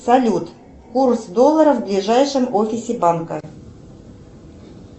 салют курс доллара в ближайшем офисе банка